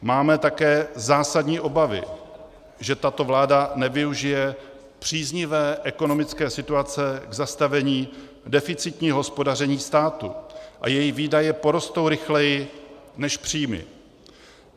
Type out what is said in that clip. Máme také zásadní obavy, že tato vláda nevyužije příznivé ekonomické situace k zastavení deficitního hospodaření státu a její výdaje porostou rychleji než příjmy.